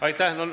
Aitäh!